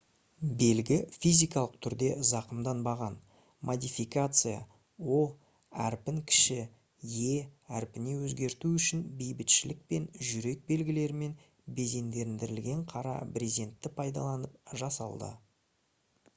белгі физикалық түрде зақымданбаған; модификация «o» әрпін кіші «e» әрпіне өзгерту үшін бейбітшілік пен жүрек белгілерімен безендірілген қара брезентті пайдаланып жасалды